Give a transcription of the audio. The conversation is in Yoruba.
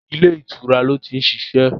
Ilé ìtura lo ti ń ṣiṣẹ́